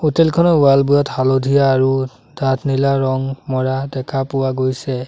Hotel খনৰ wall বোৰত হালধীয়া আৰু ডাঠ নীলা ৰং মৰা দেখা পোৱা গৈছে।